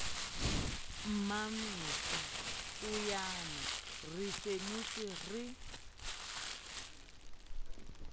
mmamesa poeyana re senotswe re